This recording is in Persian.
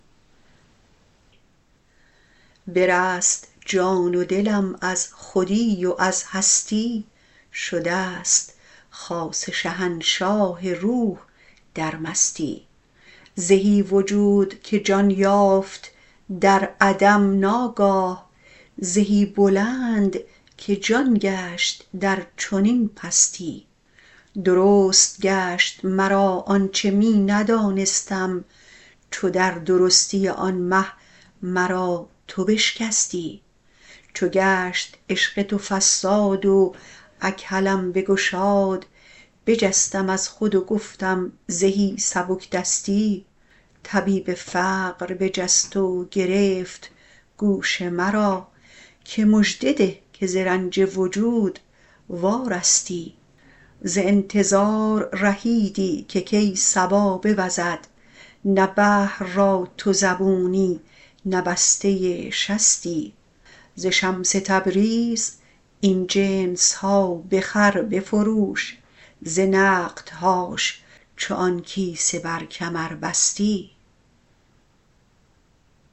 برست جان و دلم از خودی و از هستی شدست خاص شهنشاه روح در مستی زهی وجود که جان یافت در عدم ناگاه زهی بلند که جان گشت در چنین پستی درست گشت مرا آنچ می ندانستم چو در درستی آن مه مرا تو بشکستی چو گشت عشق تو فصاد و اکحلم بگشاد بجستم از خود و گفتم زهی سبک دستی طبیب فقر بخست و گرفت گوش مرا که مژده ده که ز رنج وجود وارستی ز انتظار رهیدی که کی صبا بوزد نه بحر را تو زبونی نه بسته شستی ز شمس تبریز این جنس ها بخر بفروش ز نقدهاش چو آن کیسه بر کمر بستی